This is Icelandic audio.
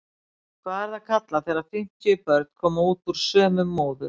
Hvað er það kallað þegar fimmtíu börn koma út úr sömu móður?